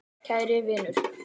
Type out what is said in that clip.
Kæri vinur.